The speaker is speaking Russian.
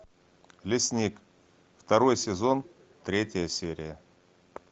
лесник второй сезон третья серия